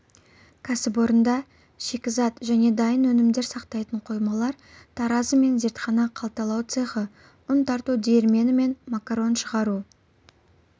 кәсіпорында шикізат және дайын өнімдер сақтайтын қоймалар таразы мен зертхана қалталау цехы ұн тарту диірмені мен макарон шығару